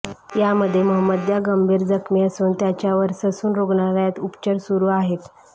यामध्ये म्हमद्या गंभीर जखमी असून त्याच्यावर ससून रुग्णालयात उपचार सुरू आहेत